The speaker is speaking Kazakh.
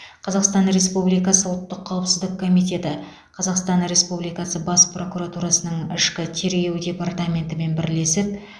қазақстан республикасы ұлттық қауіпсіздік комитеті қазақстан республикасы бас прокуратурасының ішкі тергеу департаментімен бірлесіп